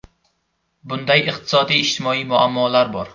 Bunday iqtisodiy-ijtimoiy muammolar bor.